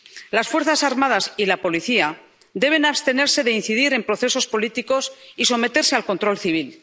Las fuerzas armadas y la policía deben abstenerse de incidir en procesos políticos y someterse al control civil.